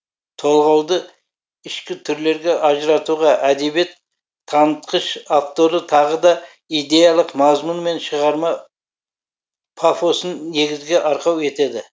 толғауды ішкі түрлерге ажыратуға әдебиет танытқыш авторы тағы да идеялық мазмұн мен шығарма пафосын негізгі арқау етеді